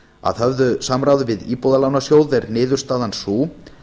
að höfðu samráði við íbúðalánasjóð er niðurstaðan sú